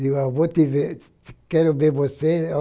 Digo, vou te ver, quero ver você.